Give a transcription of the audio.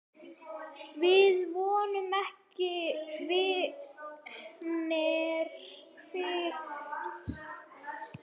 Við vorum ekki vinir fyrst.